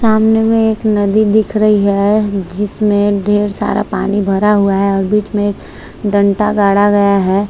सामने में एक नदी दिख रही है जिसमे ढेर सारा पानी भरा हुआ है और बीच में डंटा गाड़ा गया है।